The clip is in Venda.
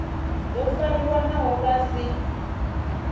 do fariwa naho vha si